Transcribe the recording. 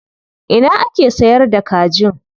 Ina ake sayar da kajin?